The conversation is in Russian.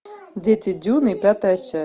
дети дюны пятая часть